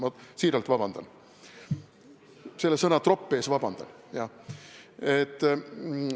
Ma palun siiralt vabandust, selle sõna "tropp" pärast palun vabandust!